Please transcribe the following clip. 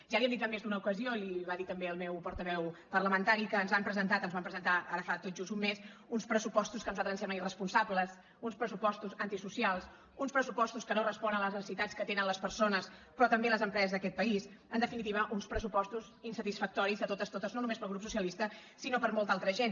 ja li hem dit en més d’una ocasió i li ho va dir també el meu portaveu parlamentari que ens han presentat ens van presentar ara fa tot just un mes uns pressupostos que a nosaltres ens semblen irresponsables uns pressupostos antisocials uns pressupostos que no responen a les necessitats que tenen les persones però també les empreses d’aquest país en definitiva uns pressupostos insatisfactoris de totes totes no només per al grup socialista sinó per a molta altra gent